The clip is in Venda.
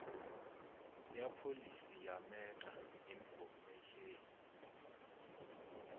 ya pholisi ya meta infomesheni